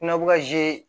Kuna bɛ ka